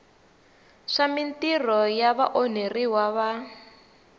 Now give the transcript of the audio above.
swa mintirho ya vaonheriwa va